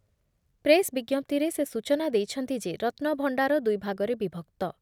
Press ବିଜ୍ଞପ୍ତିରେ ସେ ସୂଚନା ଦେଇଛନ୍ତି ଯେ ରତ୍ନଭଣ୍ଡାର ଦୁଇଭାଗରେ ବିଭକ୍ତ ।